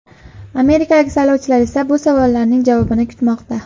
Amerikalik saylovchilar esa bu savollarning javobini kutmoqda.